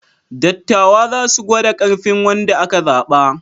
Dattawa za su gwada ƙarfin wanda aka zaɓa.